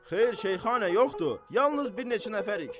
Xeyr, Şeyxana, yoxdur, yalnız bir neçə nəfərik.